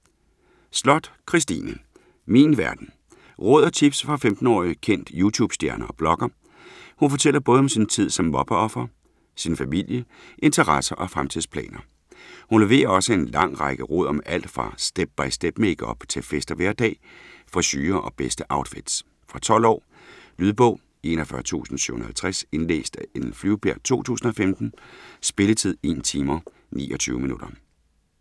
Sloth, Kristine: Min verden Råd og tips fra 15 årig kendt youtube-stjerne og blogger. Hun fortæller både om sin tid som mobbeoffer, sin familie, interesser og fremtidsplaner. Hun leverer også en lang række råd om alt fra step-by-step-makeup til fest og hverdag, frisurer og bedste outfits. Fra 12 år. Lydbog 41750 Indlæst af Ellen Flyvbjerg, 2015. Spilletid: 1 timer, 29 minutter.